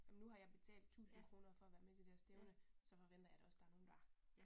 Ej men nu har jeg betalt 1000 kroner for at være med til det her stævne, så forventer jeg da også der er nogen der